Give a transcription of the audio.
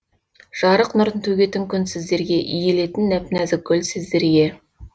жарық нұрын төгетін күн сіздерге иілетін нәп нәзік гүл сіздерге